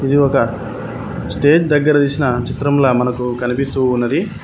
ఇది ఒక స్టేజ్ దగ్గర తీసిన చిత్రంల మనకు కనిపిస్తూ ఉన్నది.